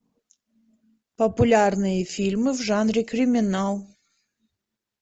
популярные фильмы в жанре криминал